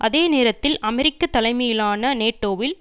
அதே நேரத்தில் அமெரிக்க தலைமையிலான நேட்டோவில்